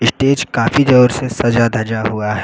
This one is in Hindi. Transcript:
स्टेज काफी जोर से सजा धजा हुआ है।